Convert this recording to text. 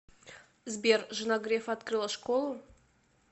сбер жена грефа открыла школу